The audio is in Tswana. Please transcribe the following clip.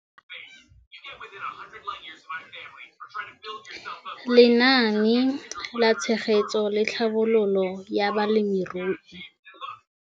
Lenaane la Tshegetso le Tlhabololo ya Balemirui.